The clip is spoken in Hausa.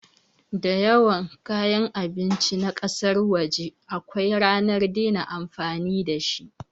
Dayawan kayan abinci na kasan waje akwai ranar dena amfani dashi